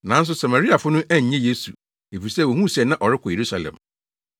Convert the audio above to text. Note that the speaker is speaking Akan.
Nanso Samariafo no annye Yesu, efisɛ wohuu sɛ na ɔrekɔ Yerusalem.